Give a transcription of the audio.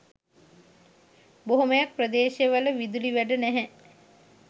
බොහොමයක් ප්‍රදේශවල විදුලි වැට නැහැ.